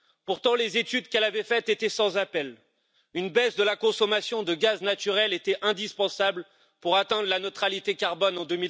Pourtant, les études qu'elle avait faites étaient sans appel une baisse de la consommation de gaz naturel était indispensable pour atteindre la neutralité carbone en